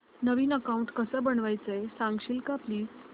नवीन account कसं बनवायचं सांगशील का प्लीज